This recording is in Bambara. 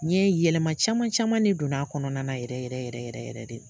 N ye yɛlɛma caman caman ne donna a kɔnɔna yɛrɛ yɛrɛ yɛrɛ yɛrɛ yɛrɛ de.